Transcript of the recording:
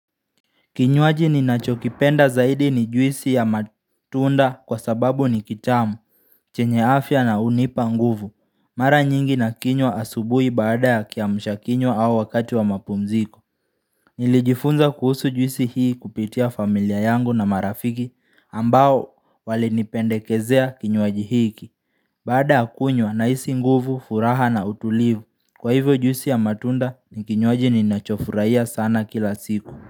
Kinywaji ni nachokipenda zaidi ni juisi ya matunda kwa sababu ni kitamu, chenye afya na hunipa nguvu. Mara nyingi na kinywa asubuhi baada ya kiamsha kinywa au wakati wa mapumziko. Nilijifunza kuhusu juisi hii kupitia familia yangu na marafiki ambao wali nipendekezea kinywaji hiki. Baada ya kunywa na hisi nguvu, furaha na utulivu. Kwa hivyo juisi ya matunda ni kinywaji ni nachofurahia sana kila siku.